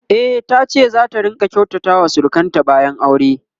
e tace zata rinka kyautata wa surukanta bayan aure